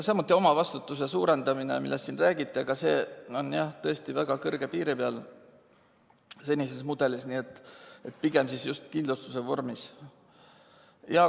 Samuti omavastutuse suurendamine, millest siin räägiti, aga see on senises mudelis tõesti väga kõrge piiri peal, nii et pigem just kindlustuse vorm.